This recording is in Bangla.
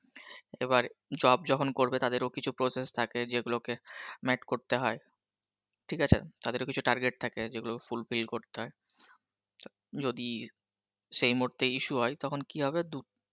এবার job যখন করবে তাদের ও কিছু process থাকে যেগুলোকে met করতে হয়, ঠিক আছে, তাদের ও কিছু টার্গেট থাকে যেগুলো fulfill করতে হয় ত যদি সেই মুহুর্তে issue হয় তখন কি হবে দু